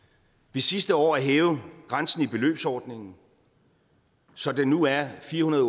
ved sidste år at hæve grænsen i beløbsordningen så den nu er firehundrede